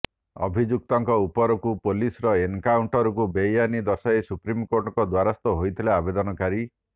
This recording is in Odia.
ଅଭିଯୁକ୍ତଙ୍କ ଉପରକୁ ପୁଲିସର ଏନକାଉଣ୍ଟରକୁ ବେଆଇନ ଦର୍ଶାଇ ସୁପ୍ରିମକୋର୍ଟଙ୍କ ଦ୍ୱାରସ୍ଥ ହୋଇଥିଲେ ଆବେଦନକାରୀ